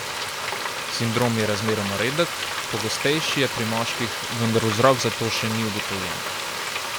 Sindrom je razmeroma redek, pogostejši je pri moških, vendar vzrok za to še ni ugotovljen.